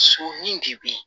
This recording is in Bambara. So nin de bɛ ye